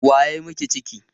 Wa ya yi miki ciki?